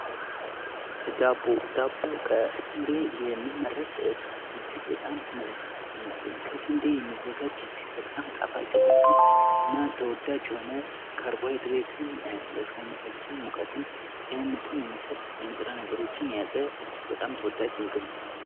ዳቦ፦ ዳቦ ከስንዴ የሚመረት እጅግ በጣም ጣፋጭ የሆነ እና ተወዳጅ የሆነ ካርቦሀድሬትን ለሰውነታችን ሙቀትን፣ ጤንነትን የሚሰጥ ንጥረ ነገሮችን የያዘ እጅግ በጣም ተወዳጅ ምግብ ነው።